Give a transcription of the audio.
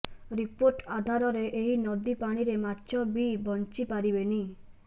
report ଆଧାରରେ ଏହି ନଦୀ ପାଣିରେ ମାଛ ବି ବଂଚି ପାରିବେନି